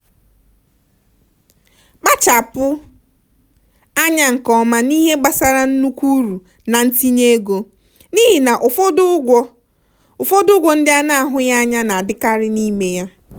kpachapụ anya nke ọma n'ihe gbasara nnukwu uru na ntinye ego n'ihi na ụfọdụ ụgwọ ụfọdụ ụgwọ ndị a na-ahụghị anya na-adịkarị n'ime ya.